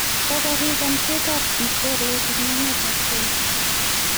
kokorek amchet ab mchelek eng emet ab kenya